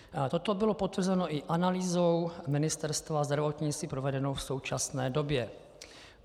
Toto bylo potvrzeno i analýzou Ministerstva zdravotnictví provedenou v současné době.